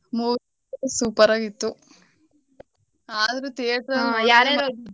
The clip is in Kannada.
Movie super ಆಗಿತ್ತು. ಆದ್ರೂ theatre